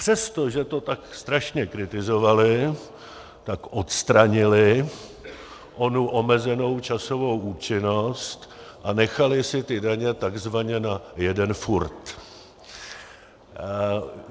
Přesto, že to tak strašně kritizovali, tak odstranili onu omezenou časovou účinnost a nechali si ty daně takzvaně na jeden furt.